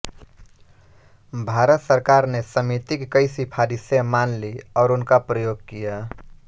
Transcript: भारत सरकार ने समिति की कई सिफारिशें मान लीं और उनका प्रयोग किया